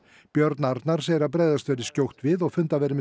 björn Arnar segir að bregðast verði skjótt við